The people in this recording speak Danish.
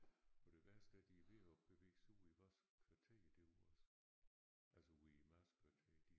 Og det værste er de er ved at bevæge sig ud i vores kvarter derude også altså ude i Marskkvarteret de